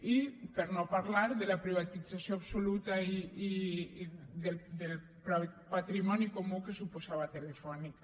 i per no parlar de la privatització absoluta del patrimoni comú que suposava telefónica